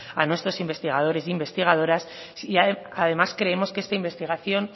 a nuestros investigadores e investigadoras y además creemos que esta investigación